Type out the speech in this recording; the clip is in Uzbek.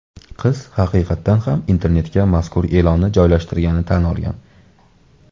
Qiz haqiqatan ham internetga mazkur e’lonni joylashtirganini tan olgan.